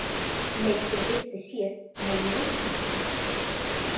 Myndin birtist hér með leyfi hans.